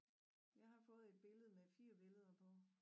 Jeg har fået et billede med 4 billeder på